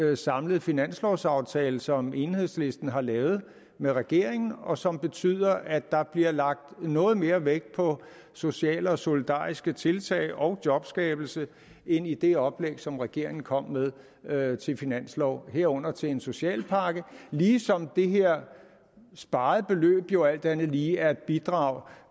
den samlede finanslovaftale som enhedslisten har lavet med regeringen og som betyder at der bliver lagt noget mere vægt på sociale og solidariske tiltag og jobskabelse end i det oplæg som regeringen kom med til finanslov herunder til en socialpakke ligesom det her sparede beløb jo alt andet lige er et bidrag